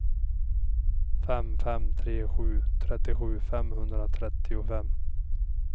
fem fem tre sju trettiosju femhundratrettiofem